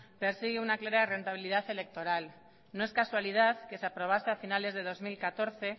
persigue una clara rentabilidad electoral no es casualidad que se aprobase a finales de dos mil catorce